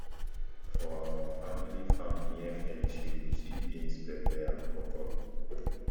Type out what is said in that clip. for our family farm near fence you go see beans pepper and okro